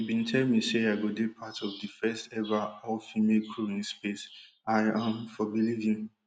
you bin tell me say i go dey part of di firstever all female crew in space i um for believe you